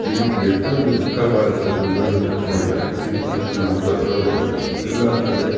ಇದಕ್ಕೆ ಎಷ್ಟೊಂದು ದಿಕ್ಕಾ ಬಾರೆ ದುಡ್ಡನ್ನ ಖರ್ಚು ಮಾಡಿದ್ದಾರೆ ಇದ್ದಕ್ಕೆ ತಕ್ಕಂತೆ ಸ್ವಚ್ವಾಗಿ ಇಟ್ಟುಕೋಬೇಕು ಇಲ್ಲಾ ಅಂತ ಅಂದ್ರೆ --